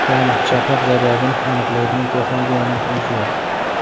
Ya’ni chaqmoq zaryadini aniqlaydigan texnologiyaning o‘zi yo‘q.